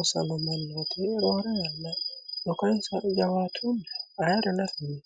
osago mannooti roore yanna dhukansa jawatunni ayiri nafinni